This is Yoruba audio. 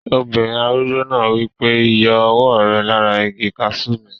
Obìnrin arúgbó náà wí pé, "yọ ọwọ́ rẹ lára igi kaasú mi!"